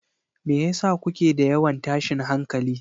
Me yasa kuke da yawan tashin hankali?